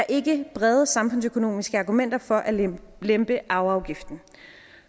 ikke brede samfundsøkonomiske argumenter for at lempe arveafgiften